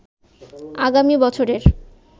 আগামী বছরের